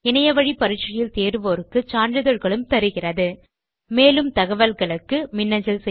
இணையத்தில் பரிட்சை எழுதி தேர்வோருக்கு சான்றிதழ்களும் தருகிறது மேலும் தகவல்களுக்கு மின்னஞ்சல் செய்யவும்